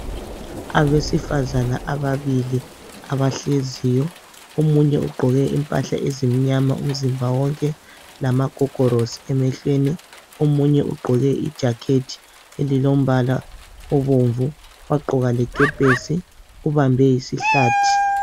Abesifazana ababili abahleziyo. Omunye ugqoke ezimnyama, lamagogolosi, Omunye ugqoke ibhatshi elibomvu. Wagqoka lekepesi. Ubambe isihlathi.